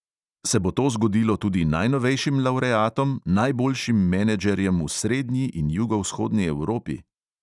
Se bo to zgodilo tudi najnovejšim lavreatom, najboljšim menedžerjem v srednji in jugovzhodni evropi?